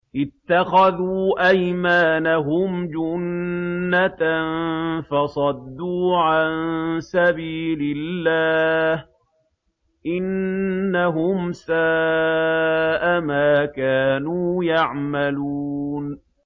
اتَّخَذُوا أَيْمَانَهُمْ جُنَّةً فَصَدُّوا عَن سَبِيلِ اللَّهِ ۚ إِنَّهُمْ سَاءَ مَا كَانُوا يَعْمَلُونَ